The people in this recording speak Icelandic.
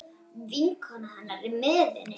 Vinkona hennar er með henni.